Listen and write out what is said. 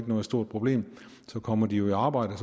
noget stort problem så kommer de jo i arbejde og